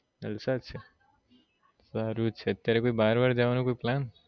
જલસા જ છે સારું છે અત્યાર બહાર વહાર જવાનું કોઈ plan